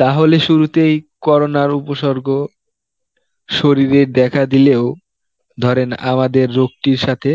তাহলে শুরুতেই corona র উপসর্গ্য শরীরে দেখা দিলেও ধরেন আমাদের রোগটির সাথে